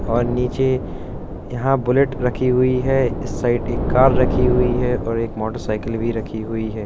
और नीचे यहाँ बुलेट रखी हुई है। इस साइड एक कार रखी हुई है और एक मोटरसाइकिल भी रखी हुई है ।